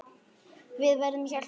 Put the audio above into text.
Við verðum hjálpa honum.